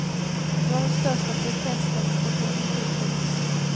Det var den största protestdemonstrationen hittills.